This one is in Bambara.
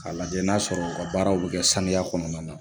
K'a lajɛ n'a sɔrɔ u ka baaraw bɛ kɛ saniya kɔnɔna na